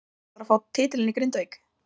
Hvenær ætlarðu að fá titilinn í Grindavík?